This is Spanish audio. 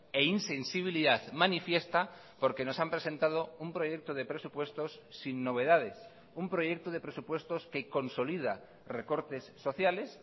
e insensibilidad manifiesta porque nos han presentado un proyecto de presupuestos sin novedades un proyecto de presupuestos que consolida recortes sociales